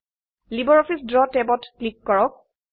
LibreOffice দ্ৰৱ ট্যাবত click কৰক